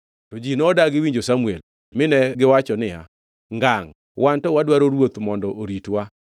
To ji nodagi winjo Samuel mi negiwacho niya, “Ngangʼ! Wan to wadwaro ruoth mondo oritwa.